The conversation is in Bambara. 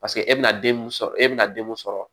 Paseke e bɛna den mun sɔrɔ e bɛna den mun sɔrɔ